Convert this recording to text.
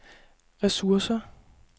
ressourcer